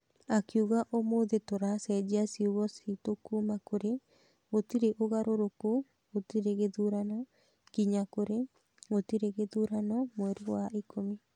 Akiuga ũmũthĩ tũracenjia ciugo citũ kuma kurĩ gũtirĩ ũgarũrũku gũtirĩ gĩthurano nginya kurĩ gũtirĩ gĩthurano mweri wa ikũmi.